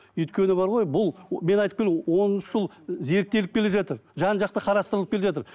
өйткені бар ғой бұл мен он үш жыл зерттеліп келе жатыр жан жақты қарастырылып келе жатыр